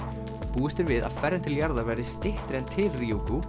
búist er við að förin til jarðar verði skemmri en til